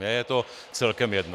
Mně je to celkem jedno.